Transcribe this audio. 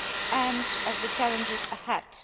and of the challenges ahead.